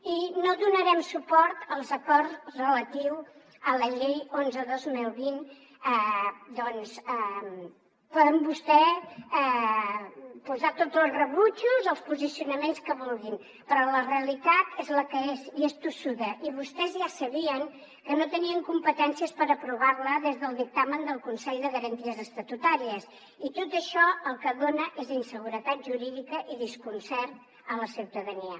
i no donarem suport a l’acord relatiu a la llei onze dos mil vint perquè poden vostès posar tots els rebutjos als posicionaments que vulguin però la realitat és la que és i és tossuda i vostès ja sabien que no tenien competències per aprovar la des del dictamen del consell de garanties estatutàries i tot això el que dona és inseguretat jurídica i desconcert a la ciutadania